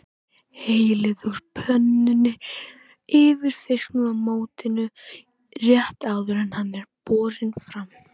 Hellið úr pönnunni yfir fiskinn í mótinu rétt áður en hann er borinn fram.